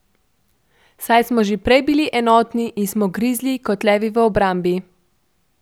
Saj smo že prej bili enotni in smo grizli kot levi v obrambi.